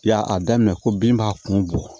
Ya a daminɛ ko bin b'a kun bɔ